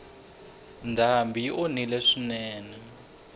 ndhambi yi onhile swinene